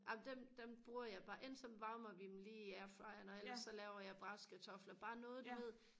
amen dem dem bruger jeg bare enten så varmer vi dem lige i airfryeren og ellers så laver jeg brasede kartofler bare noget du ved